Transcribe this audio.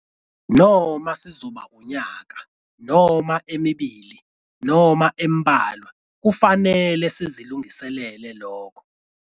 Noma sizoba unyaka noma emibili noma embalwa kufanele sizilungiselele lokho.